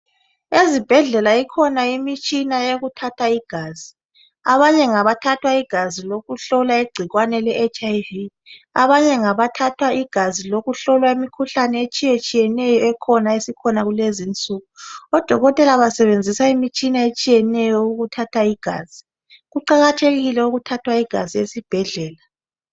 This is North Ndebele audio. Ezibhedlela ikhona imitshina eminengi etshiyeneyo. Abanye ngabathatha igazi lokuhlola igcikwane leHIV, abanye ngabathathwa igazi lokuhlola imikhuhlane etshiyatshiyeneyo esikhona kulezi. Odokotela basebenzisa imitshina etshiyeneyo ukuthatha igazi. Kuqakathekile ukuthathwa igazi esibhedlela.